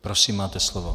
Prosím, máte slovo.